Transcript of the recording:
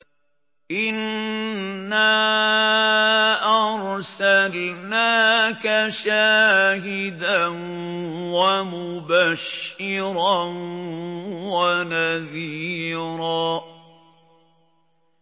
إِنَّا أَرْسَلْنَاكَ شَاهِدًا وَمُبَشِّرًا وَنَذِيرًا